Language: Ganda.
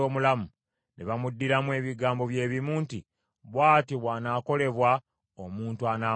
Ne bamuddiramu ebigambo bye bimu nti, “Bw’atyo bw’anaakolebwa omuntu anaamutta.”